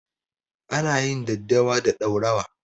Ana yin daddawa da ɗaurawa.